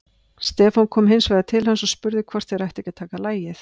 Stefán kom hins vegar til hans og spurði hvort þeir ættu ekki að taka lagið.